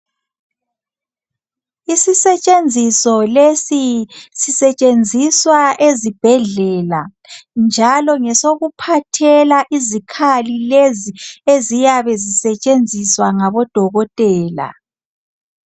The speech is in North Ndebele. Isisetshenziso lesi sisetshenziswa ezibhedlela njalo ngesokuphathela izikhali lezi eziyabe zisetshenziswa ngabodokotela